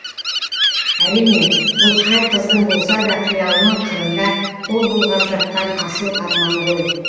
әрине бұл қай қыздың болса да қиялының қырында қол бұлғап жатқан асыл арманы ғой